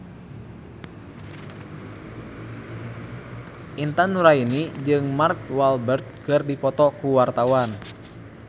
Intan Nuraini jeung Mark Walberg keur dipoto ku wartawan